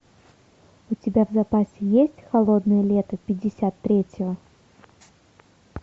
у тебя в запасе есть холодное лето пятьдесят третьего